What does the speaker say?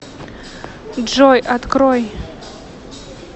джой открой